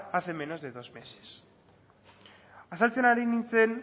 hace menos de dos meses azaltzen ari nintzen